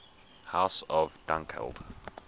house of dunkeld